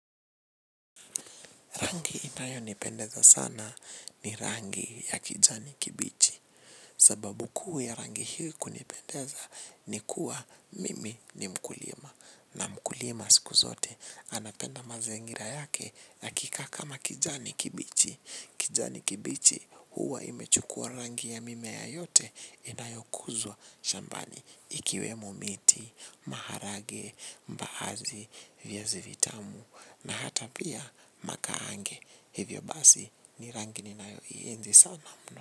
Rangi inayonipendeza sana ni rangi ya kijani kibichi. Sababu kuu ya rangi hii kunipendeza ni kuwa mimi ni mkulima. Na mkulima siku zote anapenda mazingira yake yakikaa kama kijani kibichi. Kijani kibichi huwa imechukua rangi ya mimea yote inayokuzwa shambani. Ikiwemo miti, maharage, mbaazi, viazi vitamu na hata pia makahange. Hivyo basi ni rangini ninayoienzi sana mno.